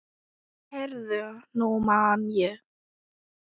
Heyrðu, nú man ég.